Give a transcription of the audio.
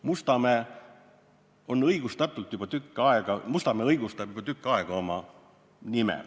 Mustamäe on juba tükk aega oma nime õigustanud.